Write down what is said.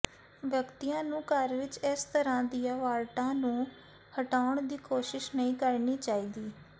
ਵਿਅਕਤੀਆਂ ਨੂੰ ਘਰ ਵਿੱਚ ਇਸ ਤਰ੍ਹਾਂ ਦੀਆਂ ਵਾਰਟਾਂ ਨੂੰ ਹਟਾਉਣ ਦੀ ਕੋਸ਼ਿਸ਼ ਨਹੀਂ ਕਰਨੀ ਚਾਹੀਦੀ